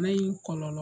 Bana in kɔlɔlɔ